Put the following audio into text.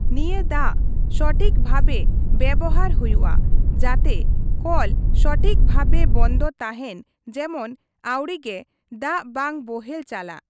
ᱱᱤᱭᱟᱹ ᱫᱟᱜ ᱥᱚᱴᱷᱤᱠ ᱵᱷᱟᱵᱮ ᱵᱮᱵᱚᱦᱟᱨ ᱦᱩᱭᱩᱜᱼᱟ ᱾ ᱡᱟᱛᱮ ᱠᱚᱞ ᱥᱚᱴᱷᱤᱠ ᱵᱷᱟᱵᱮ ᱵᱚᱱᱫᱚ ᱛᱟᱦᱮᱱ ᱡᱮᱢᱚᱱ ᱟᱹᱣᱲᱤ ᱜᱮ ᱫᱟᱜ ᱵᱟᱝ ᱵᱚᱦᱮᱞ ᱪᱟᱞᱟᱜ ᱾